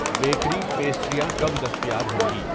Bakery, پیسٹریاں کب دستیاب ہوں گی؟